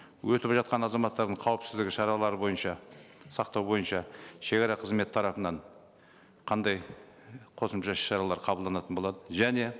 өтіп жатқан азаматтардың қауіпсіздігі шаралары бойынша сақтау бойынша шегара қызметі тарапынан қандай қосымша іс шаралар қабылданатын болады және